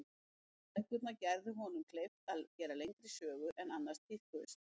Bækurnar gerðu honum kleift að gera lengri sögur en annars tíðkuðust.